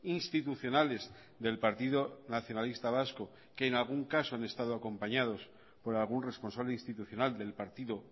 institucionales del partido nacionalista vasco que en algún caso han estado acompañados por algún responsable institucional del partido